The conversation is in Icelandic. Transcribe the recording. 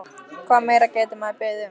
Hvað meira gæti maður beðið um?